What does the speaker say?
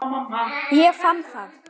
Ég fann það.